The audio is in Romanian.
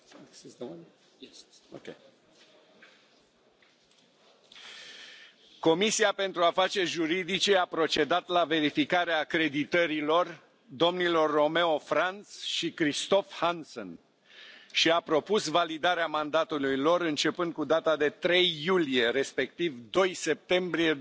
Am de făcut o comunicare Comisia pentru afaceri juridice a procedat la verificarea acreditărilor domnilor Romeo Franz și Christophe Hansen și a propus validarea mandatului lor începând cu data de 3 iulie, respectiv 2 septembrie